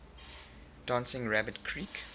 dancing rabbit creek